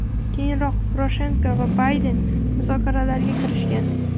Keyinroq, Poroshenko va Bayden muzokaralarga kirishgan.